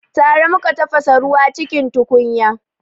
Tare muka tafasa ruwa cikin tukunya